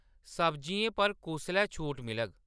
सब्ज़ियें पर कुसलै छूट मिलग